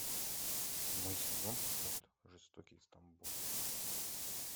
седьмой сезон мульт жестокий стамбул